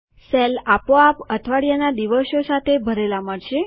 cell આપોઆપ અઠવાડિયાના દિવસો સાથે ભરેલા મળશે